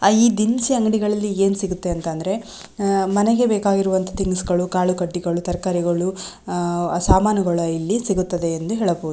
ಈ ದಿನಸಿ ಅಂಗಡಿಗಲ್ಲಲಿ ಏನ್ ಸಿಗುತ್ತೆ ಅಂತಂದರೆ ಹ ಮನಗೆ ಬೇಕಾದ ತಿನಿಸುಗಳು ಕಾಳು ಕಡಿಗಳು ತರಕಾರಿಗಳು ಸಾಮಾನುಗಳು ಇಲ್ಲಿ ಸಿಗುತ್ತವೆ ಎಂದು ಹೇಳಬಹುದು.